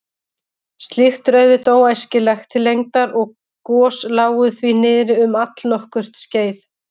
Slíkt er auðvitað óæskilegt til lengdar og gos lágu því niðri um allnokkurt skeið.